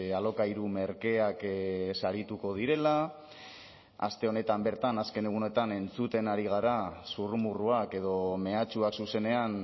alokairu merkeak sarituko direla aste honetan bertan azken egunetan entzuten ari gara zurrumurruak edo mehatxuak zuzenean